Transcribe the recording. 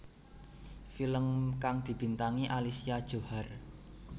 Film kang dibintangi Alicia Johar